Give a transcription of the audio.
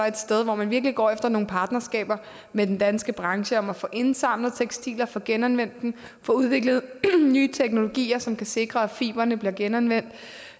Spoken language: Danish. et sted hvor man virkelig går efter nogle partnerskaber med den danske branche om at få indsamlet tekstiler få genanvendt dem få udviklet nye teknologier som kan sikre at fibrene bliver genanvendt